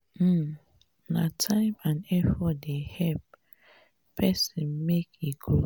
um na time and effort dey help um pesin make e grow.